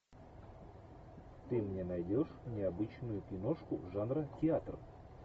ты мне найдешь необычную киношку жанра театр